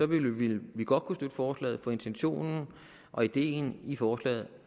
vil vi godt kunne støtte forslaget for intentionen og ideen i forslaget